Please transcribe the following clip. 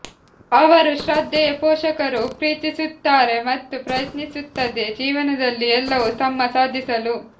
ಅವರು ಶ್ರದ್ಧೆಯ ಪೋಷಕರು ಪ್ರೀತಿಸುತ್ತಾರೆ ಮತ್ತು ಪ್ರಯತ್ನಿಸುತ್ತದೆ ಜೀವನದಲ್ಲಿ ಎಲ್ಲವೂ ತಮ್ಮ ಸಾಧಿಸಲು